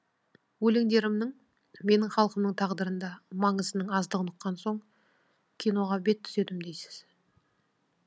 өлеңдерімнің менің халқымның тағдырында маңызының аздығын ұққан соң киноға бет түзедім дейсіз